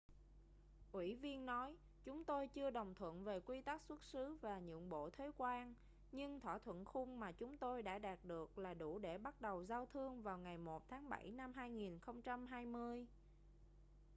ủy viên nói chúng tôi chưa đồng thuận về quy tắc xuất xứ và nhượng bộ thuế quan nhưng thỏa thuận khung mà chúng tôi đã đạt được là đủ để bắt đầu giao thương vào ngày 1 tháng bảy năm 2020